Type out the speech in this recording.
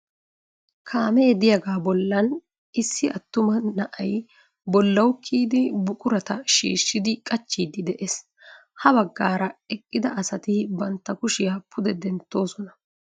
Kaamee de'iyaga bollan issi attuma na'ay bollawu kiyidi buqurata shiishshidi qachchidi de"ees. Ha baggaara eqqida asati bantta kushiya pude denttoosona.